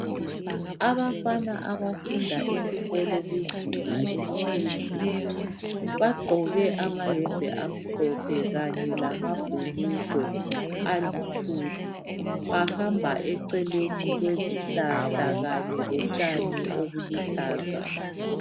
Abafana abafunda esikolo kuzinga eliphezulu. Bagqoke amayembe amhlophe, kanye lamabhulugwe aluthuli. Bahamba eceleni kwezihlahla kanye lotshani obuluhlaza.